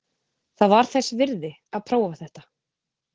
Það var þess virði að prófa þetta.